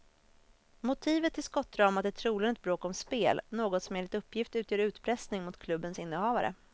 Motivet till skottdramat är troligen ett bråk om spel, något som enligt uppgift utgör utpressning mot klubbens innehavare.